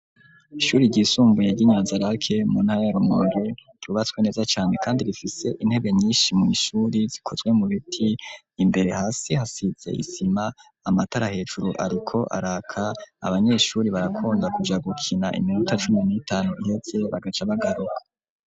Ishuri ry'isumbuye ryi Nyanzarake rubatswe neza cane kandi rifise intebe nyinshi mu ishuri zikozwe mu biti imbere hasi hasize isima amatara hejuru ariko araka abanyeshuri barakunda kuja gukina iminuta cumi n'itanu ihetse bagace bagaruka.